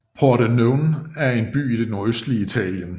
Pordenone er en by i det nordøstlige Italien